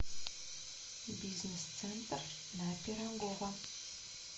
бизнес центр на пирогова